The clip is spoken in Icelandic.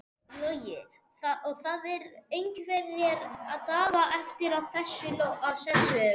Logi: Og það eru einhverjir dagar eftir að þessu eða?